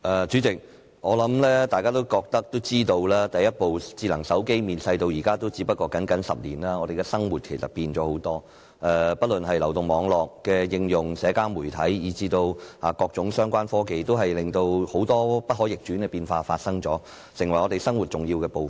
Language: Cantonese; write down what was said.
主席，我想大家都知道，第一部智能手機面世至今只是僅僅10年，我們的生活改變了很多，不論是流動網絡的應用、社交媒體以至各種相關科技，均帶來了很多不可逆轉的變化，成為我們生活的重要部分。